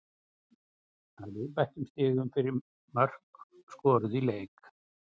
Að viðbættum stigum fyrir mörk skoruð í leik.